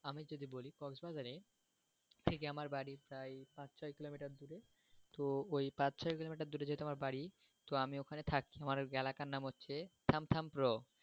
আমি যদি বলি cross bazar এ ঠিক আমার বাড়ি প্রায় পাঁচ চার কিলোমিটার দূরে তো ঠই ওই পাঁচ চার কিলোমিটার দূরে যেহেতু আমার বাড়ি তো আমি ওখানে থাকি তো ওই এলাকার নাম হচ্ছে